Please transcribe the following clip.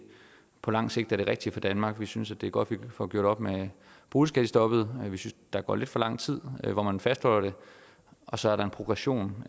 på lang sigt er det rigtige for danmark vi synes det er godt vi får gjort op med boligskattestoppet vi synes der går lidt for lang tid hvor man fastholder det og så er der en progression